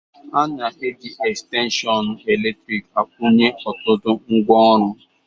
A na-eji estenshịon eletrịk akwunye ọtụtụ ngwaọrụ.